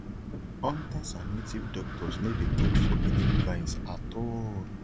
hunters and native doctors no dey touch forbidden vines at all